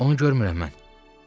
Onu görmürəm mən.